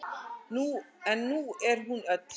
En nú er hún öll.